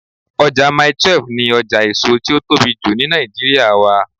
Ọjà Mile 12 ni ọjà èso tí ó tóbi jù ni Nàìjíríà wà.